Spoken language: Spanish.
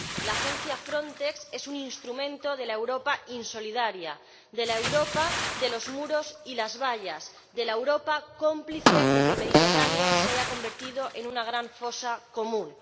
La agencia Frontex es un instrumento de la Europa insolidaria, de la Europa de los muros y las vallas, de la Europa cómplice de que el Mediterráneo se haya convertido en una gran fosa común.